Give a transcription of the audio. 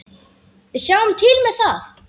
Við sjáum til með það.